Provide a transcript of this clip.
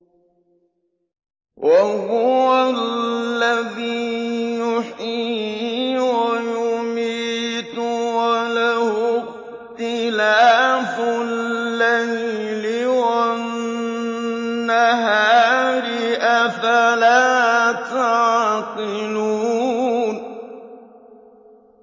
وَهُوَ الَّذِي يُحْيِي وَيُمِيتُ وَلَهُ اخْتِلَافُ اللَّيْلِ وَالنَّهَارِ ۚ أَفَلَا تَعْقِلُونَ